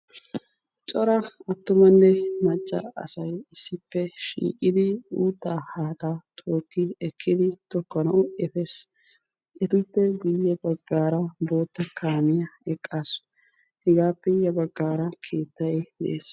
Cora attuanne macca asay issippe shiiqidi uuttaa haaxaa tookidi ekkidi tokkanawu epes. etappe guyye baggaara bootta kaamiya eqqasu. Hegaappe ya baggaara keettay de'es.